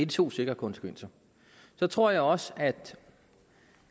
to sikre konsekvenser så tror jeg også